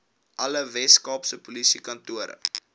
alle weskaapse polisiekantore